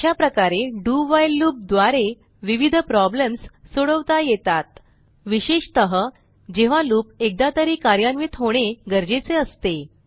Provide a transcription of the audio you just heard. अशाप्रकारे do while loop द्वारे विविध प्रॉब्लेम्स सोडवता येतात विशेषतः जेव्हा लूप एकदा तरी कार्यान्वित होणे गरजेचे असते